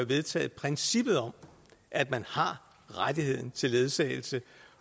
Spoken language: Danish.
vedtaget princippet om at man har retten til ledsagelse